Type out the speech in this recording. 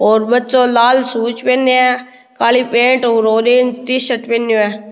और बच्चो लाल शूज पहनयो है काली पेंट और ऑरेंज टी-शर्ट पहनयो है।